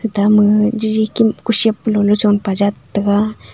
ate ma gaga jaji kim kusep hulo chong pe jat thega.